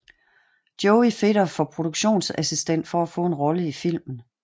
Joey fedter for produktionsassistent for at få en rolle i filmen